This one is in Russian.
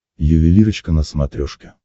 ювелирочка на смотрешке